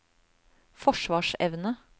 forsvarsevne